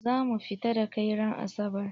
Za mu fita da kai ran asabar!